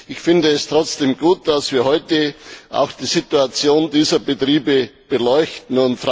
Ich finde es trotzdem gut, dass wir heute auch die Situation dieser Betriebe beleuchten.